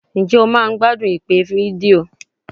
Ǹjẹ́ o máa ń gbádùn ìpè fídíò?